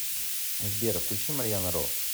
сбер включи марьяна ро